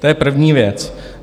To je první věc.